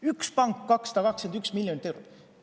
Üks pank 221 miljonit eurot!